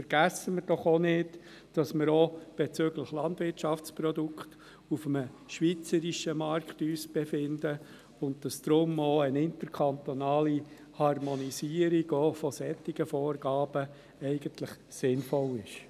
Vergessen wir doch auch nicht, dass wir uns auch bezüglich Landwirtschaftsprodukten auf einem schweizerischen Markt befinden und dass deshalb auch eine interkantonale Harmonisierung, auch von solchen Vorgaben, eigentlich sinnvoll ist.